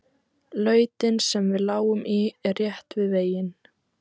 Lautin sem við lágum í er rétt við veginn.